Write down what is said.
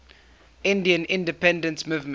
indian independence movement